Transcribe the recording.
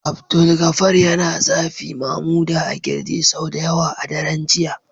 Abdulgafar yana zafi Mamuda a kirji sau da yawa a daren jiya